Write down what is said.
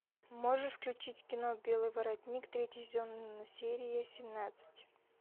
можешь включить кино белый воротник третий сезон серия семнадцать